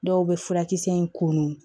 Dɔw bɛ furakisɛ in komin